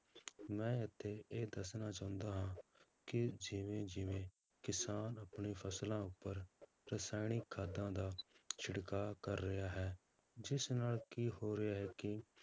ਮੈਂ ਇੱਥੇ ਇਹ ਦੱਸਣਾ ਚਾਹੁੰਦਾ ਹਾਂ ਕਿ ਜਿਵੇਂ ਜਿਵੇੇਂ ਕਿਸਾਨ ਆਪਣੀ ਫਸਲਾਂ ਉੱਪਰ ਰਸਾਇਣਿਕ ਖਾਦਾਂ ਦਾ ਛਿੜਕਾਅ ਕਰ ਰਿਹਾ ਹੈ ਜਿਸ ਨਾਲ ਕੀ ਹੋ ਰਿਹਾ ਹੈ ਕਿ